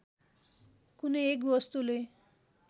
कुनै एक वस्तुले